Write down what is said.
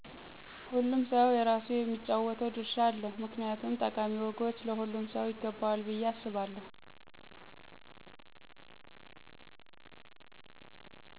ሆሉም ሰው የራሱ የሚጫወተው ድርሻ አለው ምክንያቱም ጠቃሚ ወጎች ለሆሉም ሰው ይገበዎል ብየ አሰባለው።